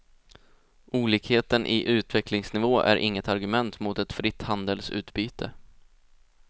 Olikheten i utvecklingsnivå är inget argument mot ett fritt handelsutbyte.